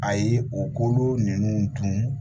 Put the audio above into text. A ye o kolo ninnu dun